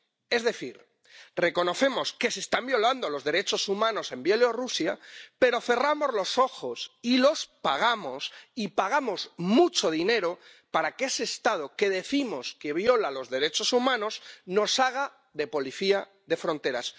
Es decir, reconocemos que se están violando los derechos humanos en Bielorrusia pero cerramos los ojos y les pagamos, y pagamos mucho dinero para que ese Estado que decimos que viola los derechos humanos nos haga de policía de fronteras.